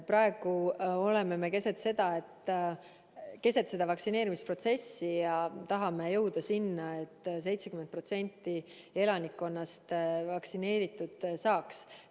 Praegu me oleme keset vaktsineerimisprotsessi ja tahame jõuda selleni, et 70% elanikkonnast vaktsineeritud saaks.